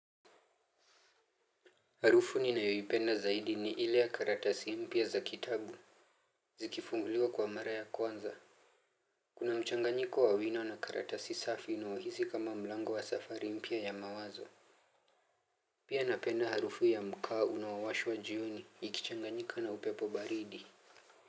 Harufu nina yoipenda zaidi ni ile ya karatasi mpya za kitabu. Zikifunguliwa kwa mara ya kwanza kuna mchanganyiko wawino na karatasi safi inaohisi kama mlango wa safari mpya ya mawazo. Pia napenda harufu ya mkaa unawashwa jioni ikichanganyika na upepo baridi.